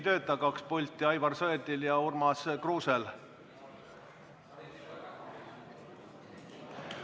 Kaks pulti ei tööta – Aivar Sõerdil ja Urmas Kruusel.